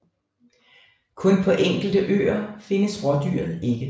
Kun på enkelte øer findes rådyret ikke